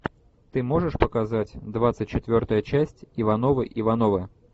ты можешь показать двадцать четвертая часть ивановы ивановы